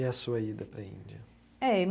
E a sua ida para a Índia?